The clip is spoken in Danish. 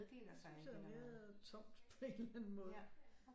Det synes jeg er mere tomt på en eller anden måde